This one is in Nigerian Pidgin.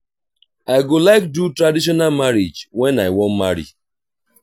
i go like do traditional marriage wen i wan marry